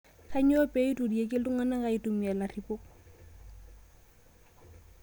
Kainyoo pee eiturieki ltung'ana aitumia laripok